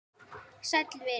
Sæll vinur